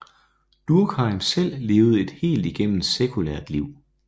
Durkheim selv levede et helt igennem sekulært liv